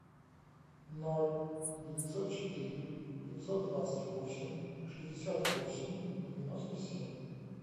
ноль девятьсот четыре пятьсот двадцать восемь шестьдесят восемь девяносто семь